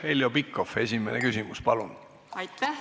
Heljo Pikhof, esimene küsimus, palun!